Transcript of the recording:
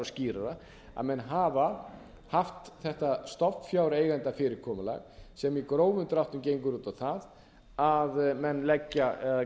skýrara að menn hafa haft þetta stofnfjáreigendafyrirkomulag sem í grófum dráttum gengur út á það að menn leggja eða